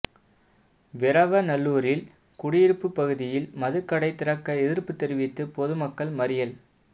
வீரவநல்லூரில் குடியிருப்பு பகுதியில் மதுக் கடைதிறக்க எதிா்ப்பு தெரிவித்து பொதுமக்கள் மறியல்